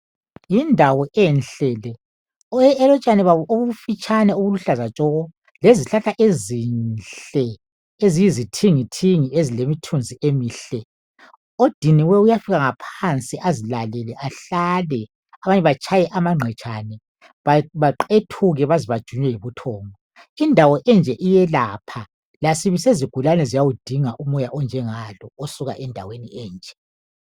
Yindawo enhle le elotshani babo obufitshane obuluhlaza tshoko lezihlahla ezinhle eziyizithingithingi ezilomthunzi emihle, odiniweyo uyafika ngaphansi azilalele ahlale abanye batshaye amangqetshane baqethuke baze bajunye yibuthongo. Indawo enje iyelapha lasibi sezigulaneni ziyawudinga umoya onjengalo osuka endaweni enje.